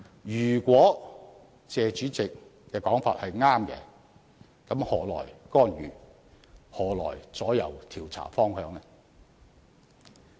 如果謝議員的說法正確，那麼又何來干預，何來左右調查方向呢？